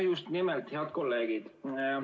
Ja just nimelt head kolleegid.